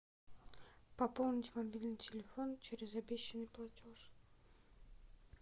пополнить мобильный телефон через обещанный платеж